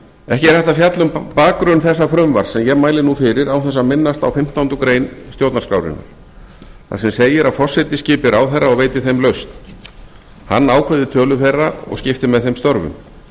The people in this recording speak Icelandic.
ekki er hægt að fjalla um bakgrunn þessa frumvarps sem ég mæli nú fyrir án þess að minnast á fimmtándu grein stjórnarskrárinnar þar sem segir að forseti skipi ráðherra og veiti þeim lausn hann ákveði tölu þeirra og skipti með þeim störfum